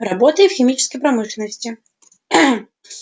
работает в химической промышленности